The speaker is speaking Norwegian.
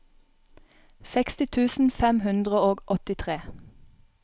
seksti tusen fem hundre og åttitre